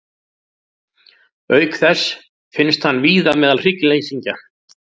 Auk þess finnst hann víða meðal hryggleysingja.